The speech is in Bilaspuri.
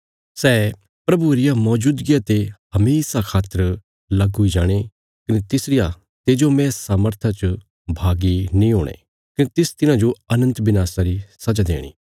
सै प्रभुये रिया मौजूदगिया ते हमेशा खातर लग हुई जाणे कने तिसरिया तेजोमय सामर्था च भागी नीं हुणे कने तिस तिन्हांजो अनन्त विनाशा री सजा देणी